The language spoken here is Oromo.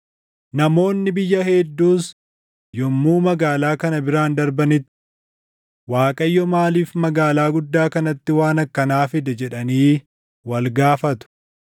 “Namoonni biyya hedduus yommuu magaalaa kana biraan darbanitti, ‘ Waaqayyo maaliif magaalaa guddaa kanatti waan akkanaa fide?’ jedhanii wal gaafatu.